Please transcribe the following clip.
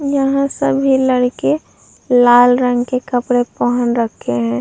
यहाँ सभी लड़के लाल रंग के कपड़े पहन रखे हैं।